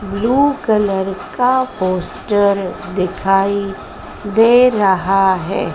Blue colour का poster दिखाई दे रहा है।